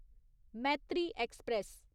Maitri express